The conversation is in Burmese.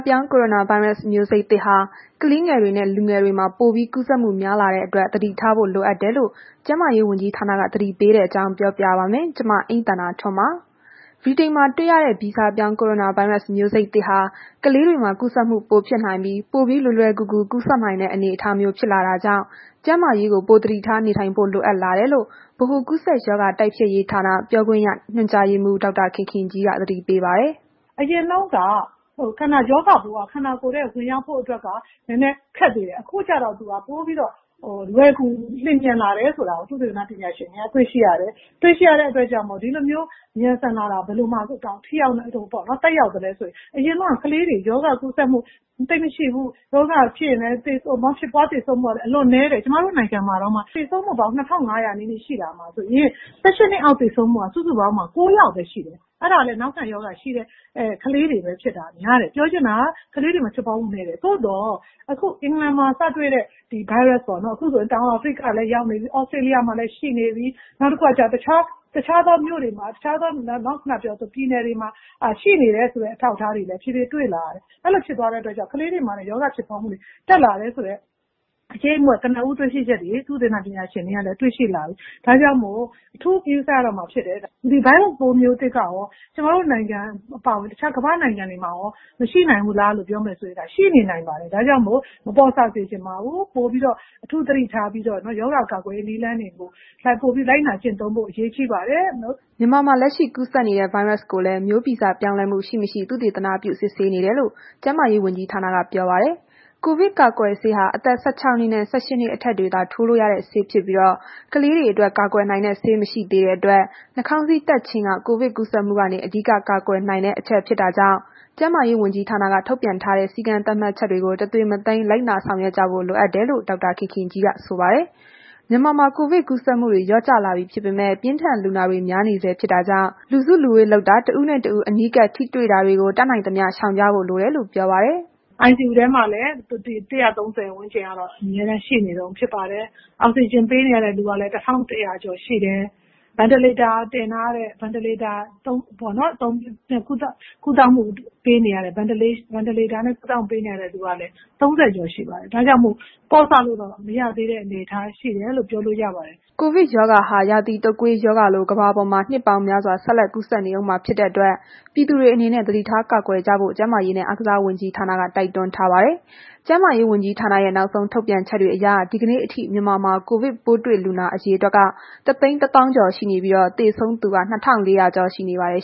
ပြောင်း ကိုရိုနာဗိုင်းရပ်စ် မျိုးစိတ်သစ်ဟာ ကလေးငယ်တွေနဲ့ လူငယ်တွေမှာ ပိုပြီးကူးစက်မှုများလာ တဲ့အတွက် သတိထားဖို့လိုအပ်တယ်လို့ ကျန်းမာရေးဝန်ကြီးဌာနက သတိပေးတဲ့ အကြောင်းကို ဗွီအိုအေမြန်မာပိုင်း သတင်းထောက် မအိမ့်သန္တာထွန်းက ပြောပြပါမယ်။ ဗြိတိန်မှာ တွေ့ရတဲ့ ဗီဇပြောင်း ကိုရိုနာဗိုင်းရပ်စ် မျိုးစိတ်သစ်ဟာ ကလေးတွေမှာ ကူးစက်မှုပိုဖြစ်နိုင်ပြီး ပိုပြီးလွယ်လွယ်ကူကူ ကူးစက်နိုင်တဲ့ အနေအထားမျိုးဖြစ်လာတာကြောင့် ကျန်းမာရေးကို ပိုသတိထားနေထိုင်ဖို့ လိုအပ်လာတယ်လို ဗဟိုကူးစက်ရောဂါတိုက်ဖျက်ရေးဌာန ပြောခွင့်ရ ညွှန်ကြားရေးမှူး ဒေါက်တာခင်ခင်ကြီးက သတိပေးပါတယ်။ “အရင်တုန်းက ရောဂါပိုးက ခန္ဓာကိုယ်ထဲ ဝင်ရောက်ဖို့အတွက်က နည်းနည်းခက်သေးတယ်။ အခုကျတော့ ပိုပြီးတော့ လွယ်ကူလျင်မြန်လာတယ်ဆိုတာကို သုတေသနပညာရှင်တွေက တွေ့ရှိရတယ်။ ဒီလို မြန်ဆန်လာတာက ဘယ်လိုသက်ရောက်သလဲဆိုရင် အရင်က ကလေးတွေ ရောဂါကူးစက်မှု သိပ်မရှိဘူး။ ဖြစ်ရင်လည်း သေဆုံးမှုက အလွန်နည်းတယ်။ ကျမတို့နိုင်ငံမှာတောင်မှ သေဆုံးမှုပေါင်း ၂,၅၀၀ နီးနီးရှိတာမှာ ဆိုရင် ၁၈ နှစ်အောက် သေဆုံးမှုက စုစုပေါင်းမှာ ၉ ယောက်ပဲရှိတယ်။ အဲ့ဒါကလည်း နောက်ခံရောဂါရှိတဲ့ ကလေးတွေပဲ ဖြစ်တာများတယ်။ ပြောချင်တာက ကလေးတွေမှာ ဖြစ်ပွားမှု နည်းတယ်။ သို့သော်အခု အင်္ဂလန်မှာ စတွေ့တဲ့ Virus ပေါ့နော်။ ခုဆို တောင်အာဖရိကလည်းရောက် နေပြီ။ သြစတြေးလျမှာလည်း ရှိနေပြီ။ နောက်တစ်ခုက တခြားသော ဒေသတွေ ပြည်နယ်တွေမှာ ရှိနေတယ်ဆိုတဲ့ အထောက်အထားတွေလည်း တဖြည်းဖြည်းတွေ့လာရတယ်။ အဲ့ဒီလိုဖြစ်သွားတဲ့အတွက်ကြောင့် ကလေးတွေမှာလည်း ရောဂါဖြစ်ပွားနှုန်းတွေ တက်လာတယ်ဆိုတဲ့ အရိပ်အမြွတ် ကနဦးတွေ ရှိချက်တွေ သုတေသန ပညာရှင်တွေက တွေ့ရှိလာပြီ။ ဒါကြောင့်မို့ အထူးဂရုစိုက်ရတော့ မှာဖြစ်တယ်။ ဒီ Virus ပိုးမျိုးစိတ်ကရော ကျမတို့နိုင်ငံအပါအဝင် တခြားသောနိုင်ငံတွေမှာရော မရှိနေနိုင်ဘူးလားဆိုရင် ရှိနေနိုင်ပါတယ်။ဒါကြောင့်မို့ မပေါ့ဆစေချင်ပါဘူး။ အထူးသတိထားပြီးတော့ ရောဂါကာကွယ်ရေးနည်းလမ်းတွေကို ပိုပြီးလိုက်နာကျင့်သုံးဖို့ အရေးကြီးပါတယ်။” မြန်မာမှာလက်ရှိ ကူးစက်နေတဲ့ ဗိုင်းရပ်စ်ကိုလည်း မျိုးဗီဇပြောင်းလဲမှုရှိ၊ မရှိ သုတေသနပြု စစ်ဆေးနေတယ် ကျန်းမာရေးဝန်ကြီးဌာနက ပြောပါတယ်။ ကိုဗစ်ကာကွယ်ဆေးဟာ အသက် ၁၆ နှစ်နှင့် ၁၈ နှစ် အထက်တွေသာ ထိုးလို့ရတဲ့ ဆေးဖြစ်ပြီး ကလေးတွေအတွက် ကာကွယ်နိုင်တဲ့ ဆေးမရှိသေးတဲ့အတွက် နှာခေါင်းစည်းတပ်ခြင်းက ကိုဗစ် ကူးစက်မှုကနေ အဓိက ကာကွယ်နိုင်တဲ့ အချက်ဖြစ်တာကြောင့် ကျန်းမာရေးဝန်ကြီးဌာနက ထုတ်ပြန်ထားတဲ့ စည်းကမ်းသတ်မှတ်ချက်တွေကို တသွေမသိမ်း လိုက်နာကြဖို့ လိုအပ်တယ်လို့ ဒေါက်တာခင်ခင်ကြီးက ဆိုပါတယ်။ မြန်မာမှာ ကိုဗစ်ကူးစက်မှုတွေ လျော့ကျလာပြီ ဖြစ်ပေမဲ့ ပြင်းထန်လူနာတွေများနေဆဲ ဖြစ်တာကြောင့် လူစုလူဝေးလုပ်တာ တစ်ဦးနဲ့ တစ်ဦး အနီးကပ်ထိတွေ့တာတွေကို တတ်နိုင်သမျှ ရှောင်ကြဖို့ လိုတယ်လို့ ပြောပါတယ်။ “ICU ထဲမှာလည်း ၁၃၀ ဝန်းကျင်က အမြဲတမ်းရှိနေတုန်းဖြစ်ပါတယ်။ အောက်စီဂျင်ပေးနေရတဲ့သူက လည်း ၁,၁၀၀ ကျော်ရှိတယ်။ Ventilator နဲ့ ကုသမှုပေးနေရတဲ့ လူနာကလည်း ၃၀ ကျော်ရှိပါတယ်။ ဒါကြောင့်မို့ ပေါ့ဆလို့တော့ မရသေးတဲ့ အနေအထားရှိတယ်လို့တော့ ပြောလို့ရပါတယ်။” ကိုဗစ်ရောဂါဟာ ရာသီတုတ်ကွေးရောဂါလို ကမ္ဘာပေါ်မှာ နှစ်ပေါင်းများစွာ ဆက်လက်ကူးစက်နေအုံးမှာ ဖြစ်တဲ့အတွက် ပြည်သူတွေအနေနဲ့ သတိထားကာကွယ်ကြဖို့ ကျန်းမာရေးနဲ့ အားကစားဝန်ကြီးဌာနက တိုက်တွန်းထားပါတယ်။ ကျန်းမာရေးဝန်ကြီးဌာနရဲ့ နောက်ဆုံးထုတ်ပြန်ချက်တွေအရ ဒီကနေ့အထိ မြန်မာမှာ ကိုဗစ်ပိုးတွေ့လူနာ အရေအတွက်က ၁၁၇,၉၄၆ ရှိနေပြီး သေဆုံးသူက ၂,၄၈၄ ရှိနေပါတယ်